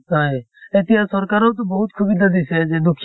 এতিয়া চৰকাৰ তো বহুত দিছে যে